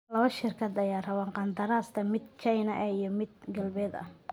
Lawa shirkad aya rawaa kandarasta mid China eh iyo mid galbed eh.